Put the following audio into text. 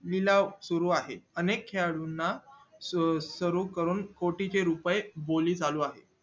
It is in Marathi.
निलावं सुरू आहे अनेक खेळाडूंना स्वर स्वरूप करून कोटी चे रुपये बोली चालू आहे